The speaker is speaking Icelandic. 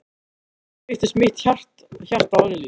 Og þá lyftist mitt hjarta örlítið.